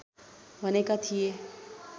भनेका थिए